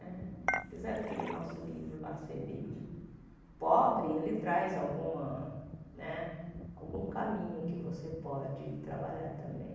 Né apesar daquele nosso livro lá ser meio pobre, ele traz alguma né algum caminho que você pode trabalhar também.